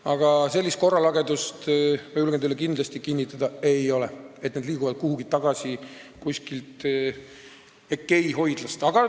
Aga sellist korralagedust, ma julgen teile kindlasti kinnitada, ei ole, nagu need liiguksid kuskilt EKEI hoidlast kuhugi tagasi.